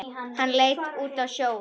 Hann leit út á sjóinn.